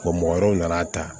mɔgɔ wɛrɛw nana ta